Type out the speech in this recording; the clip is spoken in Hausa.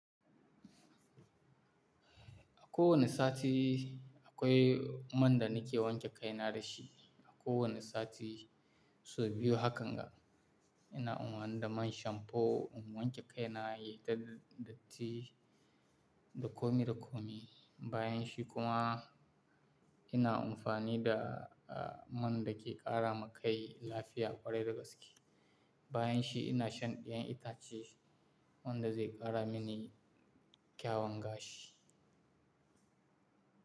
A kowane sati akwai man da nake wanke kai na da shi. A kowane sati sau biyu hakan ga, ina amfani da man shamfo in wanke kai na, yi dal datti dakomi, dakomi. Bayanshi kuma ina amfani da a man da ke ƙara ma kai lafiya ƙwarai da gaske. Bayanshi ina shan ƴaƴan itace wanda zai ƙara mini kyawanga shi.